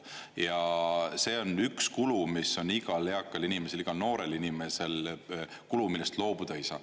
Ja see on üks kulu, mis on igal eakal inimesel, igal noorel inimesel kulu, millest loobuda ei saa.